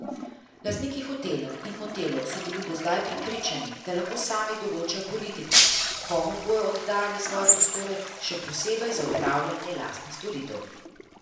Lastniki hotelov in motelov so bili do zdaj prepričani, da lahko sami določajo politiko, komu bodo oddajali svoje prostore, še posebej za opravljanje lastnih storitev.